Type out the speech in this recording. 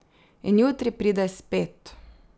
In jutri pride spet.